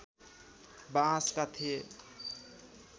बाँसका थिए